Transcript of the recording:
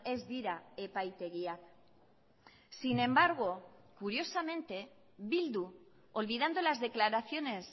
ez dira epaitegiak sin embargo curiosamente bildu olvidando las declaraciones